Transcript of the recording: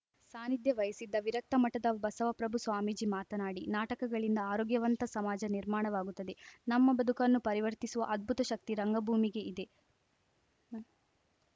ಸಾನಿಧ್ಯ ವಹಿಸಿದ್ದ ವಿರಕ್ತ ಮಠದ ಬಸವಪ್ರಭು ಸ್ವಾಮೀಜಿ ಮಾತನಾಡಿ ನಾಟಕಗಳಿಂದ ಆರೋಗ್ಯವಂತ ಸಮಾಜ ನಿರ್ಮಾಣವಾಗುತ್ತದೆ ನಮ್ಮ ಬದುಕನ್ನು ಪರಿವರ್ತಿಸುವ ಅದ್ಭುತ ಶಕ್ತಿ ರಂಗಭೂಮಿಗೆ ಇದೆ